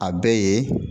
A bɛɛ ye